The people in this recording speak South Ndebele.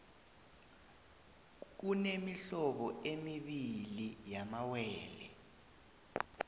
kunemihlobo emibii yamawele